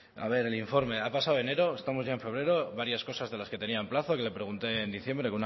a ver el informe ha pasado enero estamos ya en febrero varias cosas de las que tenía en plazo yo le pregunté en diciembre